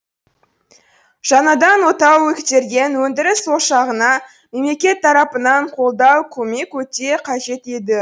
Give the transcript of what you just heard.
жаңадан отау көтерген өндіріс ошағына мемлекет тарапынан қолдау көмек өте қажет еді